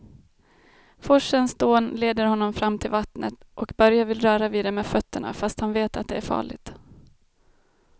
Forsens dån leder honom fram till vattnet och Börje vill röra vid det med fötterna, fast han vet att det är farligt.